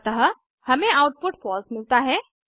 अतः हमें output false मिलता है